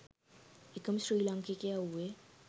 එකම ශ්‍රී ලාංකිකයා වූයේ